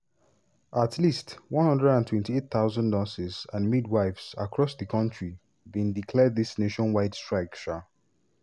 at least 128000 nurses and midwives across di kontri bin declare dis nationwide strike. um